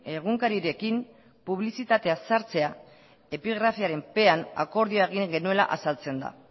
egunkarirekin publizitatea sartzea epigrafiarenpean akordioa egin genuela azaltzen da